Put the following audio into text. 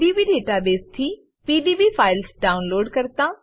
pdb database થી PDB files download કરતા